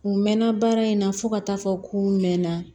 U mɛnna baara in na fo ka taa fɔ ko n mɛn na